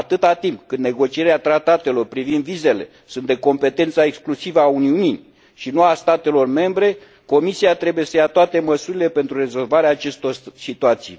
Atât timp cât negocierea tratatelor privind vizele este de competența exclusivă a Uniunii, și nu a statelor membre, Comisia trebuie să ia toate măsurile pentru rezolvarea acestor situații